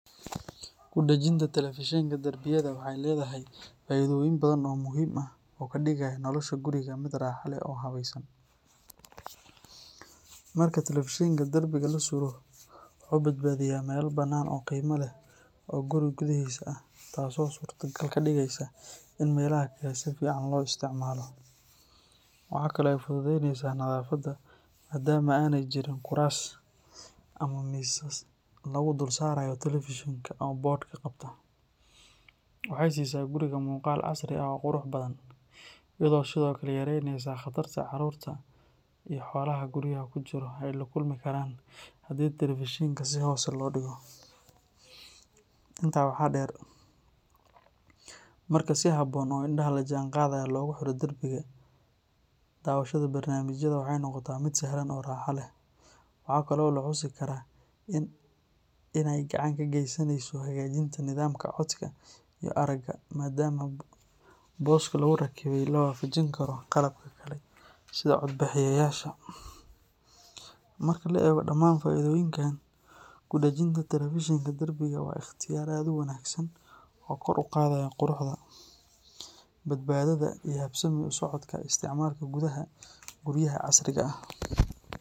Kudajinta telefishenka darbiyada waxay leedahay faa’iidooyin badan oo muhiim ah oo ka dhigaya nolosha guriga mid raaxo leh oo habaysan. Marka telefishenka darbiga la suro, wuxuu badbaadiyaa meel bannaan oo qiimo leh oo guri gudihiisa ah, taasoo suurtogal ka dhigaysa in meelaha kale si fiican loo isticmaalo. Waxa kale oo ay fududaynaysaa nadaafadda maadaama aanay jirin kuraas ama miisas lagu dul saarayo telefishenka oo boodhka qabta. Waxay siisaa guriga muuqaal casri ah oo qurux badan, iyadoo sidoo kale yareynaysa khatarta carruurta iyo xoolaha guryaha ku jira ay la kulmi karaan haddii telefishenka si hoose loo dhigo. Intaa waxaa dheer, marka si habboon oo indhaha la jaanqaadaya loogu xiro darbiga, daawashada barnaamijyada waxay noqotaa mid sahlan oo raaxo leh. Waxa kale oo la xusi karaa in ay gacan ka geysanayso hagaajinta nidaamka codka iyo aragga maadaama booska lagu rakibay la waafajin karo qalabka kale sida codbaahiyeyaasha. Marka la eego dhammaan faa’iidooyinkan, kudajinta telefishenka darbiga waa ikhtiyaar aad u wanaagsan oo kor u qaadaya quruxda, badbaadada iyo habsami u socodka isticmaalka gudaha guryaha casriga ah.